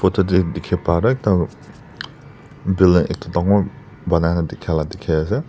tatey dikhi pah tuh ekta building ekta dangor banana dikhi la dikhi ase.